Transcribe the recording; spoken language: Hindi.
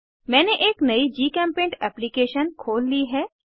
मैंने एक नयी जीचेम्पेंट एप्लीकेशन खोल ली है